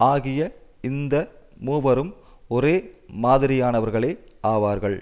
ஆகிய இந்த மூவரும் ஒரே மாதிரியானவர்களே ஆவார்கள்